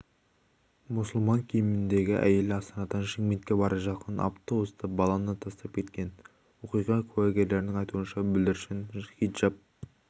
мұсылман киіміндегі әйел астанадан шымкентке бара жатқан автобуста баланы тастап кеткен оқиға куәгерлерінің айтуынша бүлдіршін хиджап